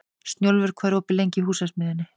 Snjólfur, hvað er opið lengi í Húsasmiðjunni?